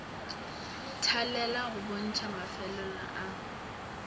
thalela go bontšha mafelelo a